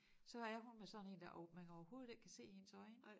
Så er hun med sådan én der og man kan overhovedet ikke se hendes øjne